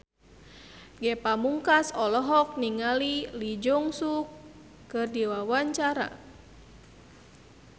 Ge Pamungkas olohok ningali Lee Jeong Suk keur diwawancara